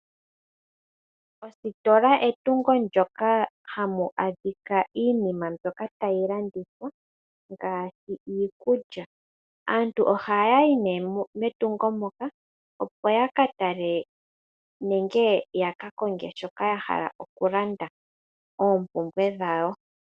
Ositola etungo ndoka hamu adhika iinima mbyoka tayi landithwa ngaashi iikulya. Aantu ohaya yi nee metungo ndyoka opo yaka tale nenge yaka konge shoka ya hala oku landa oompumbwe dhawo.